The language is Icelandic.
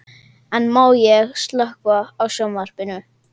En má ég ekki slökkva á sjónvarpinu?